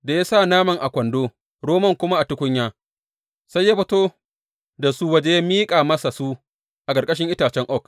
Da ya sa naman a kwando, romon kuma a tukunya, sai ya fito da su waje ya miƙa masa su a ƙarƙashin itacen oak.